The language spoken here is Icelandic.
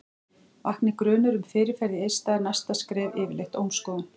vakni grunur um fyrirferð í eista er næsta skref yfirleitt ómskoðun